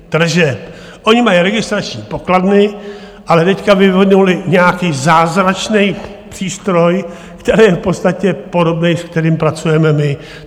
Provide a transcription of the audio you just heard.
Oni mají registrační pokladny, ale teď vyvinuli nějaký zázračný přístroj, který je v podstatě podobný, s kterým pracujeme my.